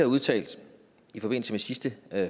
udtalte i forbindelse med sidste